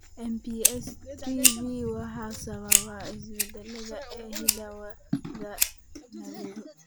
MPS IIIB waxaa sababa isbeddellada ee hidda-wadaha NAGLU.